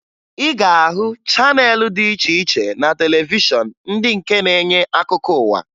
Ị ga-ahụ channel dị iche iche na televishọn ndị nke na-enye akụkọ ụwa